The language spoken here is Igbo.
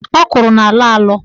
Ọkwụrụ na-alọ alọ.